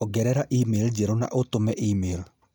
ongerera email njerũ na ũtũme email